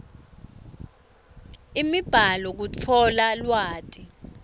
imibhalo kutfola lwati